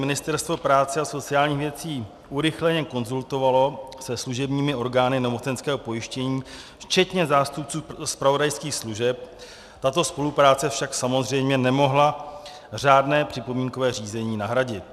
Ministerstvo práce a sociálních věcí urychleně konzultovalo se služebními orgány nemocenského pojištění včetně zástupců zpravodajských služeb, tato spolupráce však samozřejmě nemohla řádné připomínkové řízení nahradit.